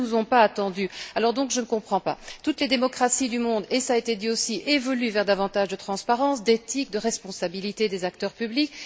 Ils ne nous ont pas attendus. Alors je ne comprends pas toutes les démocraties du monde et cela a été dit aussi évoluent vers davantage de transparence, d'éthique, de responsabilité des acteurs publics.